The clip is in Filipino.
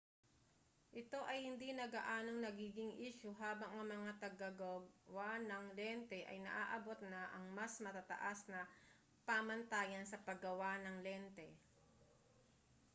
ito ay hindi na gaanong nagiging isyu habang ang mga tagagawa ng lente ay naaabot na ang mas matataas na pamantayan sa paggawa ng lente